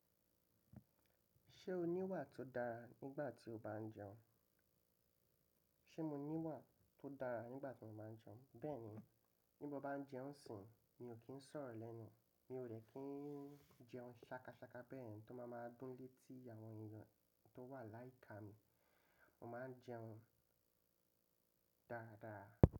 Ṣé o ní ìwà tó dára nígbà tí o bá ń jẹun? Ṣé mo ní ìwà tó dára nígbà tí mo báa ń jẹun? Bẹ́ẹ̀ni, bí mo báa ń jẹun isìn, mi ò kí ń sọ̀rọ̀ lẹ́nu, mi ò dẹ̀ kí ń jẹun ṣàkàṣàkà bẹ́ẹ̀, tó máa máa dúnlé tí àwọn èèyàn tó wà láìka mi, mo máa ń jẹun dáadáa.